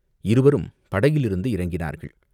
இருவரும் படகிலிருந்து இறங்கினார்கள்.